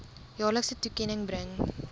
jaarlikse toekenning bring